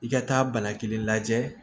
I ka taa bana kelen lajɛ